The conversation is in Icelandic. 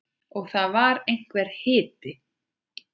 Og það var einhver hiti.